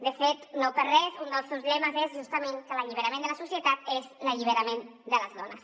de fet no per res un dels seus lemes és justament que l’alliberament de la societat és l’alliberament de les dones